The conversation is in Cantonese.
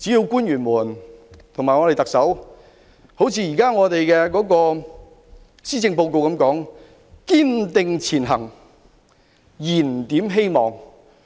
官員及特首應一如現時施政報告所說，"堅定前行燃點希望"。